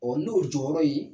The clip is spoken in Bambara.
n'o jɔyɔrɔ ye